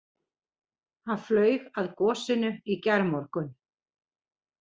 Hann flaug að gosinu í gærmorgun